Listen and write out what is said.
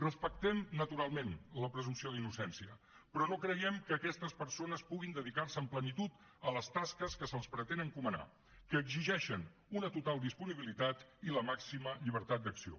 respectem naturalment la presumpció d’innocència però no creiem que aquestes persones puguin dedicar se amb plenitud a les tasques que se’ls pretén encomanar que exigeixen una total disponibilitat i la màxima llibertat d’acció